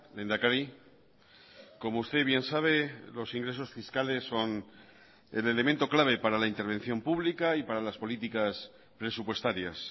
lehendakari como usted bien sabe los ingresos fiscales son el elemento clave para la intervención pública y para las políticas presupuestarias